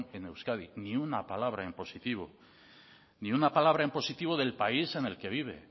en euskadi ni una palabra en positivo ni una palabra en positivo del país en el que vive